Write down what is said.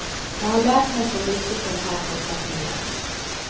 Jag har lärt mig så mycket på den här korta tiden.